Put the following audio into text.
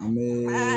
An bɛ